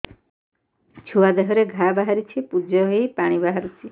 ଛୁଆ ଦେହରେ ଘା ବାହାରିଛି ପୁଜ ହେଇ ପାଣି ପରି ବାହାରୁଚି